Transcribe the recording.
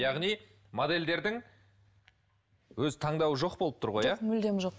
яғни моделдердің өз таңдауы жоқ болып тұр ғой иә жоқ мүлдем жоқ